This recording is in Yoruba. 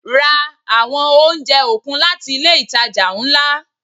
Ra àwọn oúnjẹ okun láti ilé itàjà ńlá.